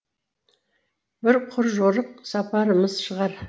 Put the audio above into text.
бір құр жорық сапарымыз шығар